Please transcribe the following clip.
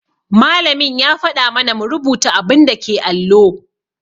Malamin ya faɗa mana mu rubuta abun dake allo.